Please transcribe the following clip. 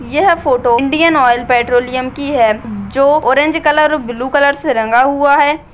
यह photo Indian oil petroleum की है ऑरेंज कलर ब्लू कलर से रंगा हुआ है।